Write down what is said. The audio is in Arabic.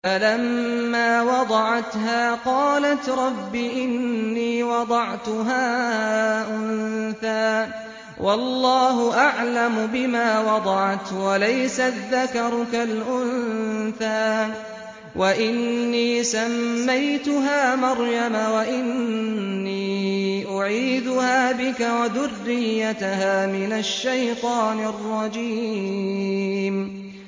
فَلَمَّا وَضَعَتْهَا قَالَتْ رَبِّ إِنِّي وَضَعْتُهَا أُنثَىٰ وَاللَّهُ أَعْلَمُ بِمَا وَضَعَتْ وَلَيْسَ الذَّكَرُ كَالْأُنثَىٰ ۖ وَإِنِّي سَمَّيْتُهَا مَرْيَمَ وَإِنِّي أُعِيذُهَا بِكَ وَذُرِّيَّتَهَا مِنَ الشَّيْطَانِ الرَّجِيمِ